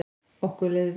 Okkur leið vel.